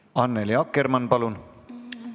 Annely Akkermann, palun!